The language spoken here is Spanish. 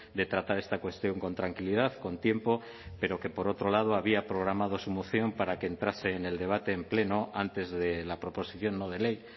de tratar esta cuestión con tranquilidad con tiempo pero que por otro lado había programado su moción para que entrase en el debate en pleno antes de la proposición no de ley